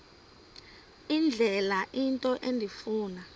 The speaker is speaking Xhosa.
indlela into endifuna